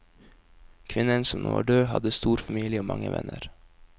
Kvinnen som nå er død, hadde stor familie og mange venner.